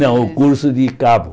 Não, o curso de cabo.